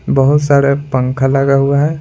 बहुत सारे पंखा लगा हुआ है।